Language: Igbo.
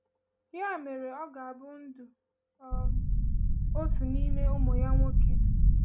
Ya mere, ọ ga-abụ ndụ um otu n’ime ụmụ ya nwoke.